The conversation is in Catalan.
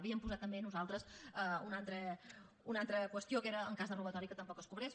havíem posat també nosaltres una altra qüestió que era en cas de robatori que tampoc es cobrés